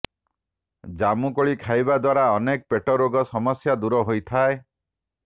ଜାମୁକୋଳି ଖାଇବା ଦ୍ୱାରା ଅନେକ ପେଟ ରୋଗ ସମସ୍ୟା ଦୂର ହୋଇଥାଏ